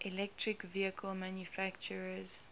electric vehicle manufacturers